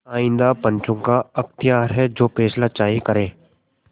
आइंदा पंचों का अख्तियार है जो फैसला चाहें करें